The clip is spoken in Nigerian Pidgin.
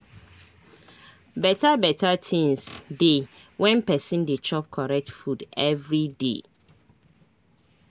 beta beta tinz dey when pesin dey chop correct food everyday